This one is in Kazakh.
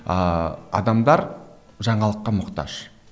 ыыы адамдар жаңалыққа мұқтаж